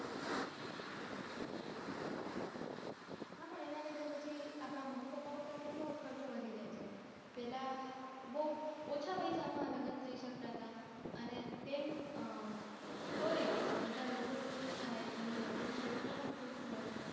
હા પણ એનાં લીધે પછી આપણા મમ્મી પપ્પા ઉપર કેટલો ખર્ચો વધી જાય છે પેલાં બૌ ઓછા પૈસામાં લગ્ન થઇ શકતા હતા અને તેમ તોય બધાં લોકો ખુશ થાય જેમનાં લગ્ન હોય એ લોકો ખુશ હોય